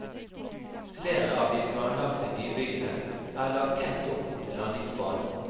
Flere av de planlagte nybyggene er lagt tett opp mot landingsbanen.